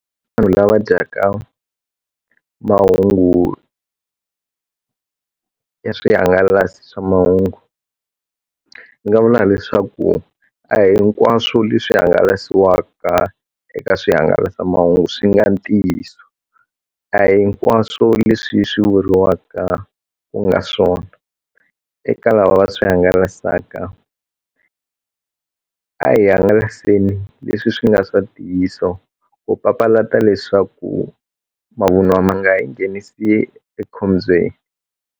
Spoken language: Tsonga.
Vanhu lava dyaka mahungu ya swihangalasi swa mahungu ni nga vula leswaku a hinkwaswo leswi hangalasiwaka eka swihangalasamahungu swi nga ntiyiso a hinkwaswo leswi swi vuriwaka ku nga swona eka lava va swi hangalasaka a hi hangalaseni leswi swi nga swa ntiyiso ku papalata leswaku mavunwa ma nga hi nghenisi ekhombyeni.